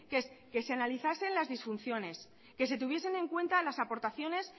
que es que se analizasen las disfunciones que se tuviesen en cuenta las aportaciones